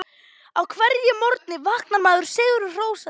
Á hverjum morgni vaknar maður sigri hrósandi.